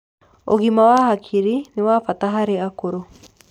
ũgima wa hakiri nĩwabata harĩ akũrũ